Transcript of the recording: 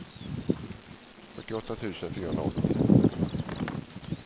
fyrtioåtta tusen fyrahundraåttio